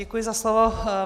Děkuji za slovo.